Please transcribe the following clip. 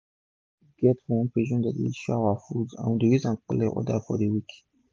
my cousin get one page wey dey show our food and we dey use am collect order for d week